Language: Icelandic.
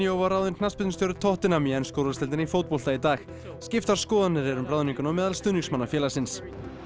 var ráðinn knattspyrnustjóri tottenham í ensku úrvalsdeildinni í fótbolta í dag skiptar skoðanir eru um ráðninguna á meðal stuðningsmanna félagsins